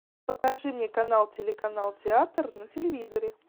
покажи мне канал телеканал театр на телевизоре